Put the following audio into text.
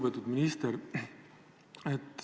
Lugupeetud minister!